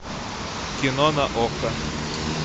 кино на окко